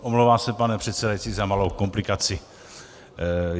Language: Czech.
Omlouvám se, pane předsedající, za malou komplikaci.